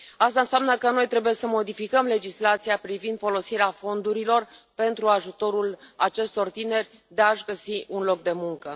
Asta înseamnă că noi trebuie să modificăm legislația privind folosirea fondurilor pentru ajutarea acestor tineri să și găsească un loc de muncă.